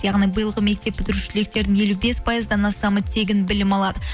яғни биылғы мектеп бітіруші түлектердің елу бес пайыздан астамы тегін білім алады